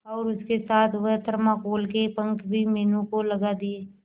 और उसके साथ वह थर्माकोल के पंख भी मीनू को लगा दिए